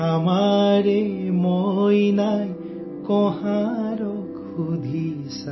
ہماری گڑیا نے کمہار سے پوچھا،